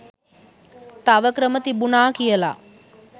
තව ක්‍රම තිබුණා කියලා.